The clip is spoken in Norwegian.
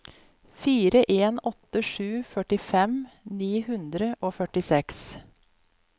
fire en åtte sju førtifem ni hundre og førtiseks